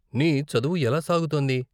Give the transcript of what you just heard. నీ చదువు ఎలా సాగుతోంది?